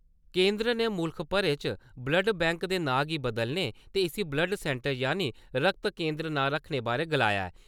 केंदर ने मुल्ख भरे च ' ब्लड बैंक' दे नां गी बदलने ते इस्सी ब्लड सैन्टर यानि ' रक्त केन्द्र ' नां रक्खने बारै गलाया ऐ ।